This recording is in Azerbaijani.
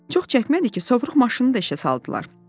Çox çəkmədi ki, sovruq maşını da işə saldılar.